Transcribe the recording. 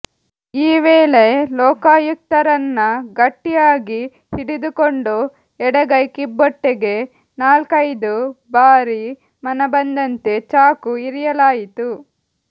ಈ ವೇಳೆ ಲೋಕಾಯುಕ್ತರನ್ನ ಗಟ್ಟಿಯಾಗಿ ಹಿಡಿದುಕೊಂಡು ಎಡಗೈ ಕಿಬ್ಬೊಟ್ಟೆಗೆ ನಾಲ್ಕೈದು ಬಾರಿ ಮನಬಂದಂತೆ ಚಾಕು ಇರಿಯಲಾಯಿತು